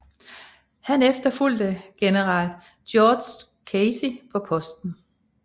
Han efterfulgte general George Casey på posten